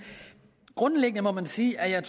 grundlæggende må man sige at jeg